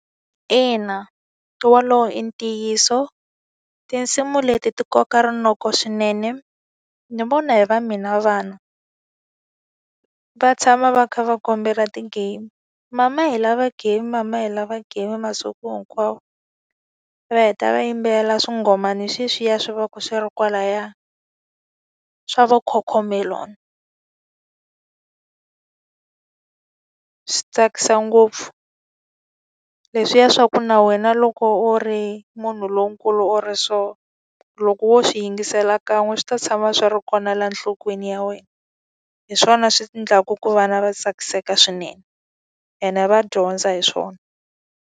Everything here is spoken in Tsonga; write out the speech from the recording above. Ina wolowo i ntiyiso. Tinsimu leti ti koka rinoko swinene. Ni vona hi va mina vana, va tshama va kha va kombela ti-game. Mama hi lava game, mama hi lava game masiku hinkwawo. Va heta va yimbelela swingomana sweswiya swi va swi ri kwalaya, swa va Cocomelon. Swi tsakisa ngopfu, leswiya swa ku na wena loko u ri munhu lonkulu or so, loko wo swi yingisela kan'we swi ta tshama swi ri kona la nhlokweni ya wena. Hi swona swi endlaka ku vana va tsakiseka swinene ene va dyondza hi swona.